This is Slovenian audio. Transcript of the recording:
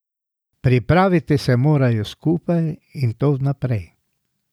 Pripraviti se morajo skupaj, in to vnaprej.